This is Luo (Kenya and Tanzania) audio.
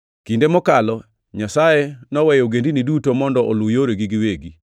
Kinde mokalo Nyasaye noweyo ogendini duto mondo oluw yoregi giwegi.